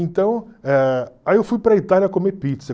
Então, eh aí eu fui para a Itália comer pizza.